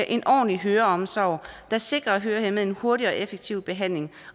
en ordentlig høreomsorg der sikrer hørehæmmede en hurtig og effektiv behandling